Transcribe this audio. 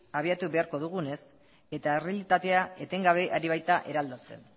habiatu beharko dugunez eta errealitatea etengabe ari baita eraldatzen